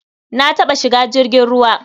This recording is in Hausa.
Na taɓa shiga jirgin ruwa.